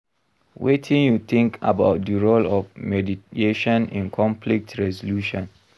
Wetin you think about di role of mediation in conflict resolution?